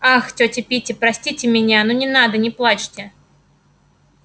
ах тётя питти простите меня ну не надо не плачьте